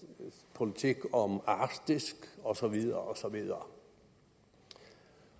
politik om arktis og så videre og så videre